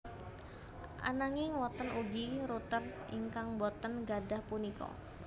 Ananging wonten ugi router ingkang boten gadhah punika